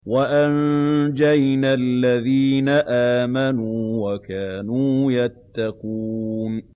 وَأَنجَيْنَا الَّذِينَ آمَنُوا وَكَانُوا يَتَّقُونَ